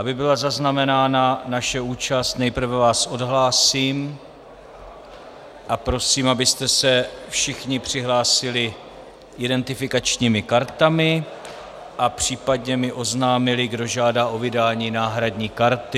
Aby byla zaznamenána naše účast, nejprve vás odhlásím a prosím, abyste se všichni přihlásili identifikačními kartami a případně mi oznámili, kdo žádá o vydání náhradní karty.